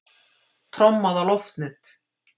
Trommað á loftnet